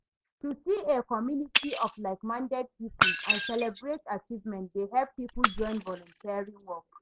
To see a community of like-minded people and celebrate achievemnent dey help people join volunteering work.